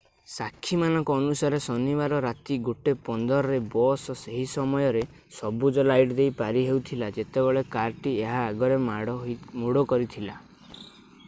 ସାକ୍ଷୀମାନଙ୍କ ଅନୁସାରେ ଶନିବାର ରାତି 1 15 ରେ ବସ୍ ସେହି ସମୟରେ ସବୁଜ ଲାଇଟ୍ ଦେଇ ପାରି ହେଉଥିଲା ଯେତେବେଳେ କାରଟି ଏହା ଆଗରେ ମୋଡ କରିଥିଲା